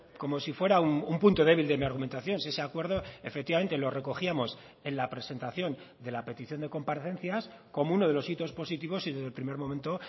como si fuera un punto débil de mi argumentación si ese acuerdo efectivamente lo recogíamos en la presentación de la petición de comparecencias como uno de los hitos positivos y desde el primer momento